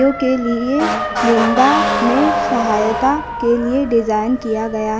के लिए निंदा में सहायता के लिए डिजाइन किया गया।